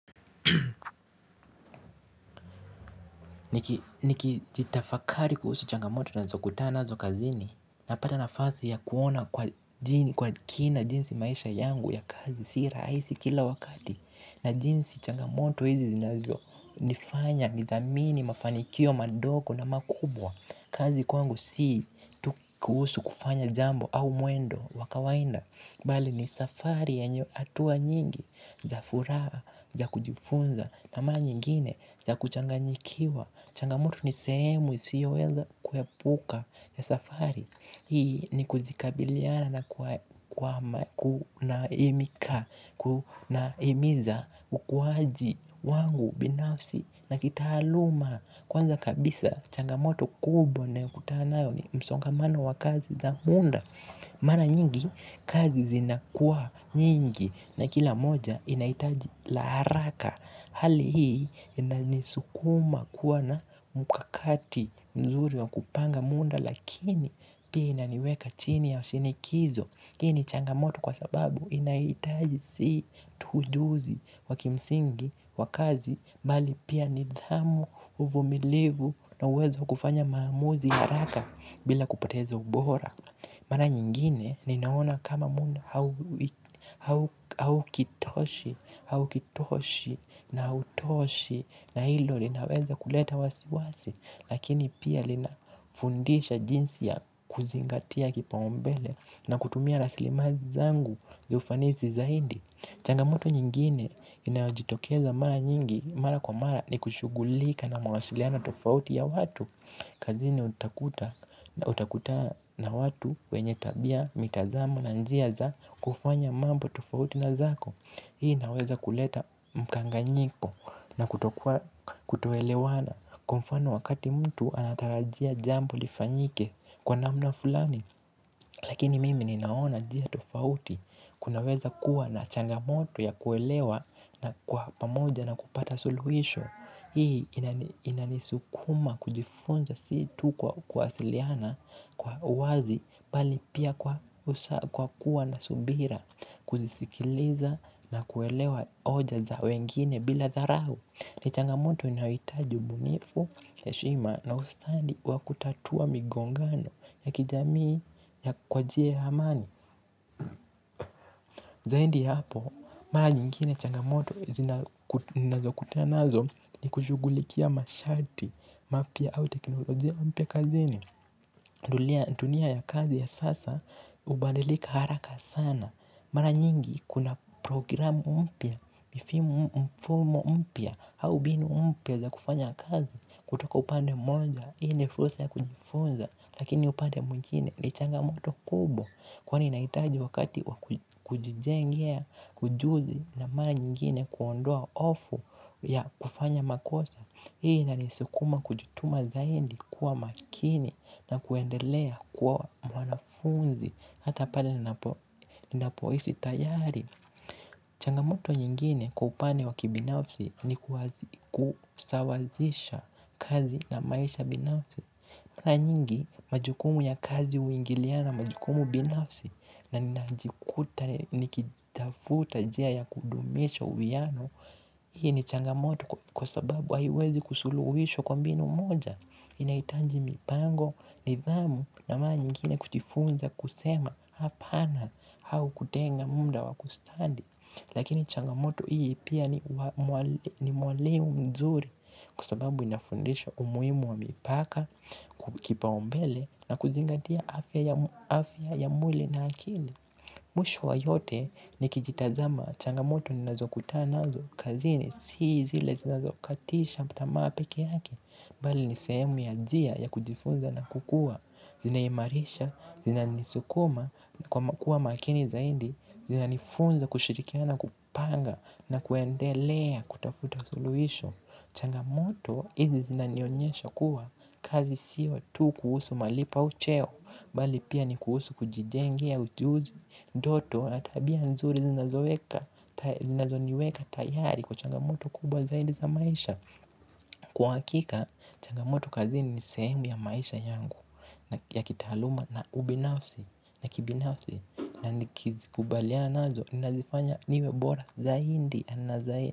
Niki jitafakari kuhusu changamoto nazokutana nazo kazini napata nafasi ya kuona kwa kina jinsi maisha yangu ya kazi si raisi kila wakati. Na jinsi changamoto hizi zinazo nifanya nithamini mafanikio madoko na makubwa. Kazi kwangu si kuhusu kufanya jambo au muendo wa kawainda bali ni safari ya atuwa nyingi, za furaa, za kujifunza, na maa nyingine, za kuchanganyikiwa, changamoto ni sehemu, isiyo weza kuepuka ya safari hii ni kujikabiliana na himiza ukuaji wangu kibinafsi la kitaaluma kwanza changamoto kubwa nayokutana nayo ni msongamano wa kazi za muda. Mara nyingi kazi zinakuwa nyingi na kila moja inaitaji la haraka hali hii ina nisukuma kuwa na mukakati mzuri wa kupanga munda lakini pia inaniweka chini ya shinikizo. Hii ni changamoto kwa sababu inaitaji si tu ujuzi wa kimsingi wa kazi bali pia nidhamu uvumilivu na uwezo wa kufanya maamuzi ya haraka bila kupoteza ubora. Mara nyingine ni naona kama muna haukitoshi na utoshi na ilo linaweza kuleta wasiwasi. Lakini pia linafundisha jinsi ya kuzingatia kipaumbele na kutumia raslimazi zangu za ufanisi zaidi. Changamoto nyingine inajitokeza mara nyingi mara kwa mara ni kushugulika na mawasiliano tofauti ya watu. Kazini utakutana na watu wenye tabia mitazamo na njia za kufanya mambo tofauti na zako. Hii naweza kuleta mkanganyiko na kutoelewana. Kwa mfano wakati mtu anatarajia jambo lifanyike kwa namna fulani. Lakini mimi ninaona njia tofauti. Kunaweza kuwa na changamoto ya kuelewa na kwa pamoja na kupata suluhisho. Hii inanisukuma kujifunza si tu kwa kuwasiliana kwa wazi bali pia kwa usha kwa kuwa na subira kujisikiliza na kuelewa oja za wengine bila dharau. Ni changamoto inayoitaji ubunifu eshima na ustandi wa kutatua migongano ya kijamii ya kwa jie ya hamani. Zaindi ya hapo, mara nyingine changamoto zinazokutana nazo ni kushugulikia mashati, mapia hau teknolojia mpya zini. Ndulia tunia ya kazi ya sasa, ubandilika haraka sana. Mara nyingi kuna programu mpya mfumo mpya au mbinu mpya za kufanya kazi. Kutoka upande moja, hii ni fulsa ya kujifunza. Lakini upande mwingine ni changamoto kubwa kwani inaitaji wakati kujizengia, kujuzi na maa nyingine kuondoa ofu ya kufanya makosa. Hii ina nisukuma kujutuma zaindi kuwa makini na kuendelea kuwa mwanafunzi hata pale ni napoisi tayari. Changamoto nyingine kwa upane wakibinafsi ni kusawazisha kazi na maisha binafsi. Na nyingi, majukumu ya kazi uingiliana, majukumu binafsi, na ninajikuta nikitafuta jia ya kudumisha uwiano, hii ni changamoto kwa sababu aiwezi kusuluwisho kwa mbinu moja, inaitaji mipango, nidhamu, na maa nyingine kujifunza kusema hapana, hau kutenga munda wakustandi, lakini changamoto hii pia ni mwalimu mzuri, kwa sababu inafundisha umuimu wa mipaka, kukipaombele na kuzingatia afya ya mwili na akili mwisho wa yote ni kijitazama changamoto ninazo kutana zo kazini. Sii zile zinazokatisha mtamaa peke yake bali ni seemu ya jia ya kujifunza na kukua. Zina imarisha, zina nisukuma na kuwa makini zaindi. Zina nifunza kushirikiana kupanga na kuendelea kutafuta suluhisho. Changamoto hizi zinanionyesha kuwa kazi siyo tu kuhusu malipo au cheo. Bali pia ni kuhusu kujijengea ujuzi ndoto na tabia nzuri zinazoniweka tayari kwa changamoto kubwa zaidi za maisha. Kwa akika changamoto kazini ni seemu ya maisha yangu ya kitaaluma na ubinafsi na kibinafsi na nikizi kubaliana nazo nazifanya niwebora zaidi na zaidi.